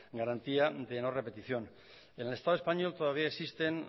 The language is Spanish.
garantía de no repetición en el estado español todavía existen